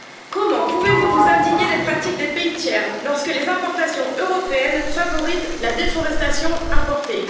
Comment pouvez vous vous indigner des pratiques des pays tiers lorsque les importations européennes favorisent la déforestation importée?